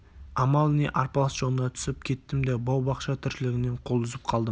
амал не арпалыс жолына түсіп кеттім де бау-бақша тіршілігінен қол үзіп қалдым